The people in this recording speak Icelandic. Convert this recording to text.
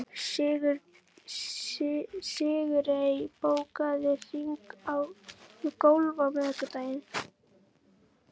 Sigurey, bókaðu hring í golf á miðvikudaginn.